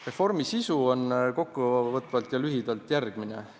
Reformi sisu on kokkuvõtvalt ja lühidalt järgmine.